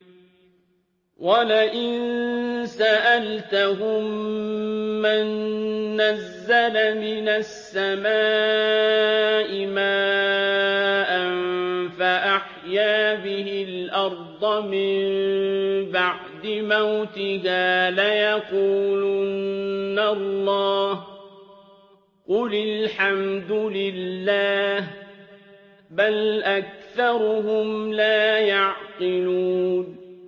وَلَئِن سَأَلْتَهُم مَّن نَّزَّلَ مِنَ السَّمَاءِ مَاءً فَأَحْيَا بِهِ الْأَرْضَ مِن بَعْدِ مَوْتِهَا لَيَقُولُنَّ اللَّهُ ۚ قُلِ الْحَمْدُ لِلَّهِ ۚ بَلْ أَكْثَرُهُمْ لَا يَعْقِلُونَ